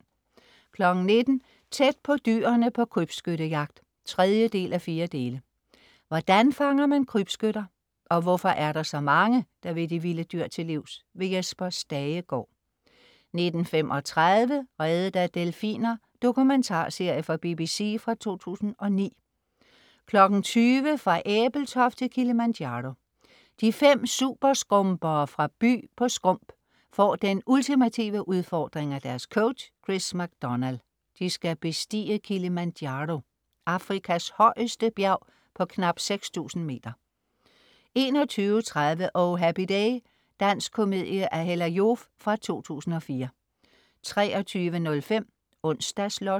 19.00 Tæt på dyrene på krybskyttejagt 3:4 Hvordan fanger man krybskytter og hvorfor er der så mange, der vil de vilde dyr til livs? Jesper Stagegaard 19.35 Reddet af delfiner. Dokumentarserie fra BBC fra 2009 20.00 Fra Ebeltoft til Kilimanjaro. De fem superskrumpere fra By på Skrump får den ultimative udfordring af deres coach Chris MacDonald. De skal bestige Kilimanjaro, Afrikas højeste bjerg på knap 6000 meter 21.30 Oh Happy Day. Dansk komedie af Hella Joof fra 2004 23.05 Onsdags Lotto